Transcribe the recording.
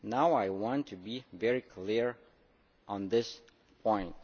I want to be very clear on this point.